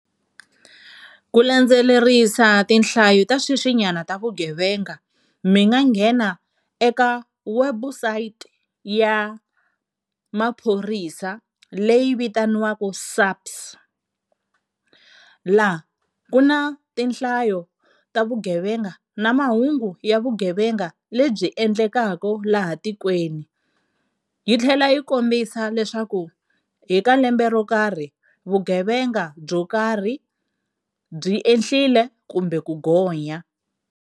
Ku landzelerisa tinhlayo ta sweswinyana ta vugevenga, mi nga nghena eka website ya maphorisa leyi vitaniwaka SAPS, la ku na tinhlayo ta vugevenga na mahungu ya vugevenga lebyi endlekaka laha tikweni. Yi tlhela yi kombisa leswaku hi ka lembe ro karhi vugevenga byo karhi byi ehlile kumbe ku gonya.